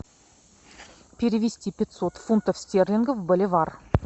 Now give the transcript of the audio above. перевести пятьсот фунтов стерлингов в боливар